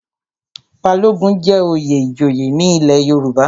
Balogun jẹ́ oyè ìjòyè ní ilé Yorùbá.